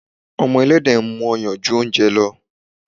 Ọmọ Ẹlẹ́dẹ̀ mú ọyàn ju oúnjẹ lọ.